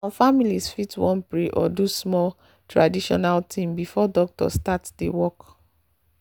some families fit wan pray or do small traditional thing before doctor start the work.